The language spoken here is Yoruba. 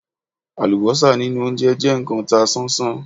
Àlùbọ́sà nínú óńjẹ jẹ́ kán ta sánsán.